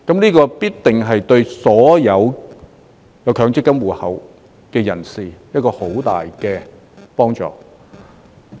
這必定對所有強積金戶口持有人有着很大的幫助。